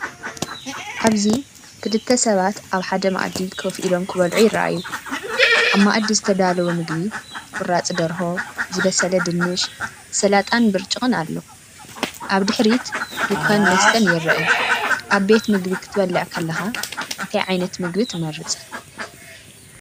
ኣብዚ ክልተ ሰባት ኣብ ሓደ መኣዲ ኮፍ ኢሎም ክበልዑ ይረኣዩ። ኣብ መኣዲ ዝተዳለወ ምግቢ፡ ቁራጽ ደርሆ፡ ዝበሰለ ድንሽ፡ ሰላጣን ብርጭቅ ኣሎ። ኣብ ድሕሪት ድኳን መስተን ይርአ። ኣብ ቤት ምግቢ ክትበልዕ ከለኻ እንታይ ዓይነት ምግቢ ትመርጽ?